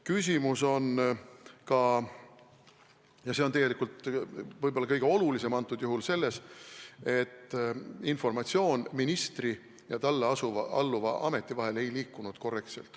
Küsimus on ka – ja see on tegelikult praegusel juhul võib-olla kõige olulisem – selles, et informatsioon ministri ja talle alluva ameti vahel ei liikunud korrektselt.